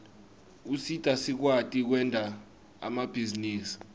usita sikwati kwenta emabhizinisi